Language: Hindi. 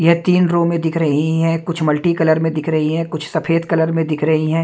यह तीन रो में दिख रही है कुछ मल्टीकलर में दिख रही है कुछ सफेद कलर में दिख रही है।